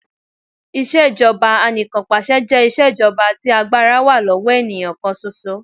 Ìṣèjọba Anìkanpàṣẹ jẹ́ iṣẹ́ jọba tí agbára wá lọ́wọ́ ènìyàn kàn ṣoṣo.